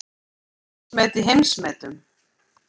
Heimsmet í heimsmetum